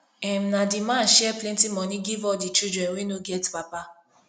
um na di man share plenty moni give all di children wey no get papa